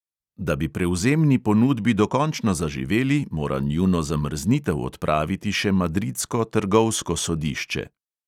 Da bi prevzemni ponudbi dokončno zaživeli, mora njuno zamrznitev odpraviti še madridsko trgovsko sodišče.